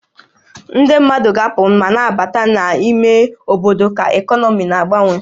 Ndị mmadụ ga-na apụ ma na-abata na n'ime obodo ka ekọnọmi na-agbanwe